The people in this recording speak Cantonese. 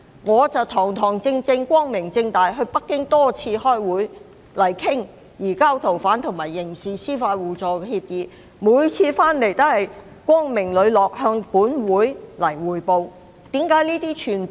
我堂堂正正，光明正大，多次前往北京開會，討論移交逃犯及刑事司法互助協議，每次回港也光明磊落地向本會匯報。